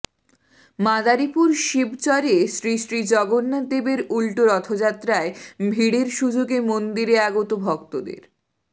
মাদারীপুর শিবচরে শ্রী শ্রী জগন্নাথ দেবের উল্টো রথযাত্রায় ভিড়ের সুযোগে মন্দিরে আগত ভক্তদের